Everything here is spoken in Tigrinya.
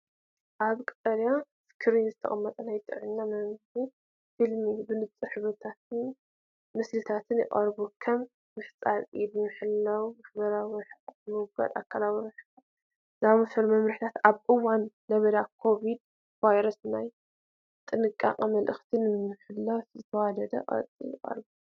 ኣብ ቀጠልያ ስክሪን ዝተቐመጠ ናይ ጥዕና መምርሒ ፊልም ብንጹር ሕብርታትን ምስልታትን ይቐርብ። ከም ምሕጻብ ኢድ፡ ምሕላው ማሕበራዊ ርሕቀት፡ ምውጋድ ኣካላዊ ርክብ ዝኣመሰሉ መምርሒታት ኣብ እዋን ለበዳ ኮሮናቫይረስ ናይ ጥንቃቐ መልእኽቲ ንምትሕልላፍ ብዝተዋደደ ቅርጺ ይቐርቡ።